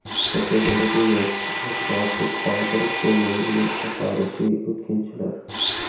Fotogalereya: E’tiborsiz qoldirib bo‘lmaydigan tasodifiy o‘tkinchilar.